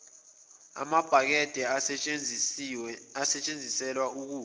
amabhakede asetshenziselwa ukukha